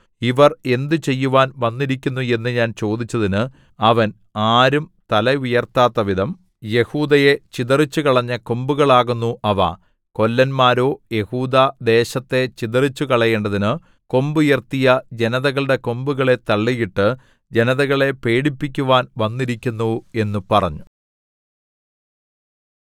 ഇവർ എന്തുചെയ്യുവാൻ വന്നിരിക്കുന്നു എന്നു ഞാൻ ചോദിച്ചതിന് അവൻ ആരും തല ഉയർത്താത്തവിധം യെഹൂദയെ ചിതറിച്ചുകളഞ്ഞ കൊമ്പുകളാകുന്നു അവ കൊല്ലന്മാരോ യെഹൂദാ ദേശത്തെ ചിതറിച്ചുകളയേണ്ടതിനു കൊമ്പുയർത്തിയ ജനതകളുടെ കൊമ്പുകളെ തള്ളിയിട്ട് ജനതകളെ പേടിപ്പിക്കുവാൻ വന്നിരിക്കുന്നു എന്നു പറഞ്ഞു